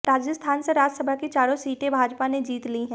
राजस्थान से राज्यसभा की चारों सीटे भाजपा ने जीत ली हैं